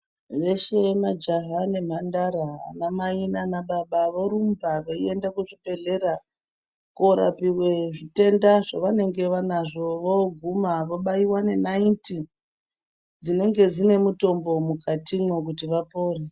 Veshe majaha nemhandara ana mai naana baba vorumba vei enda kuzvi bhedhlera korapuwa zvitenda zvavanenge vanazvo voguma vobaiwa nenaiti dzinenge dzine mutombo mukatimwo kuti vapore .